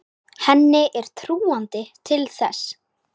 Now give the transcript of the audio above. Henni er trúandi til þess.